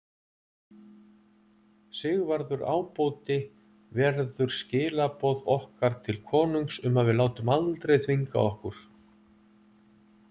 Sigvarður ábóti verður skilaboð okkar til konungs um að við látum aldrei þvinga okkur.